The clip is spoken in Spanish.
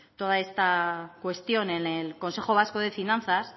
toda esta cuestión en el consejo vasco de fianzas